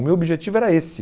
O meu objetivo era esse.